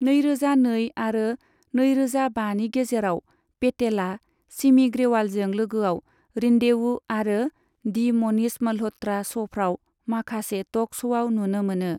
नैरोजा नै आरो नैरोजा बानि गेजेराव, पेटेला सिमी ग्रेवालजों लोगोआव रेन्डेवू आरो दि मनीष म'ल्ह'त्रा श'फ्राव माखासे टक श'आव नुनो मोनो।